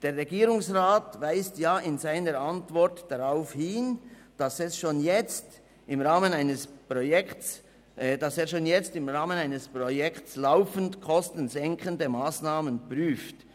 Der Regierungsrat weist in seiner Antwort darauf hin, dass er schon jetzt im Rahmen eines Projekts laufend kostensenkende Massnahmen prüft.